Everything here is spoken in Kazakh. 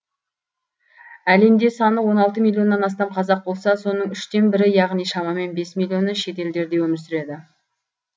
әлемде саны он алты миллионнан астам қазақ болса соның үштен бірі яғни шамамен бес миллионы шет елдерде өмір сүреді